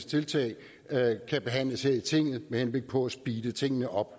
tiltag kan behandles her i tinget med henblik på at speede tingene op